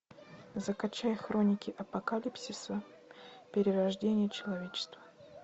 закачай хроники апокалипсиса перерождение человечества